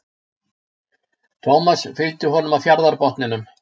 Thomas fylgdi honum að fjarðarbotninum.